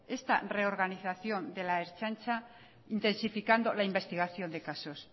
esta reorganización de la ertzaintza intensificando la investigación de casos